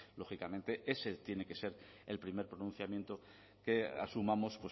lógicamente ese tiene que ser el primer pronunciamiento que asumamos